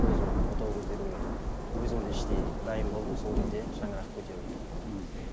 өзім отау көтеруге өзім де іштей дайын болдым сол кезде шаңырақ көтердім мхм